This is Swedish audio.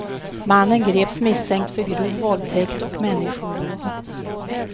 Mannen greps misstänkt för grov våldtäkt och människorov.